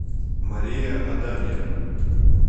мария адамия